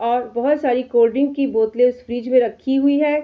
और बहोत सारी कोल्ड-ड्रिंक की बोतलें इस फ्रिज में रखी हुई है।